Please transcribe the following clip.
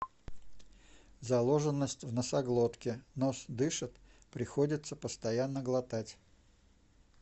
заложенность в носоглотке нос дышит приходится постоянно глотать